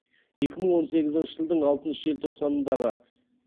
екі мың он сегізінші жылдың алтыншы желтоқсанындағы